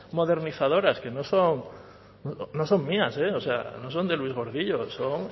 modernizadoras que no son mías eh no son de luis gordillo son